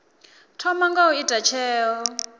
thoma nga u ita tsheo